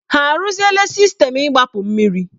Ha arụzila sistemu igbapu mmiri?